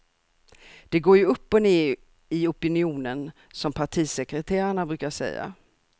Det går ju upp och ned i opinionen, som partisekreterarna brukar säga.